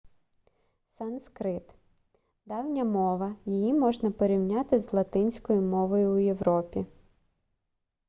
санскрит давня мова її можна порівняти з латинською мовою у європі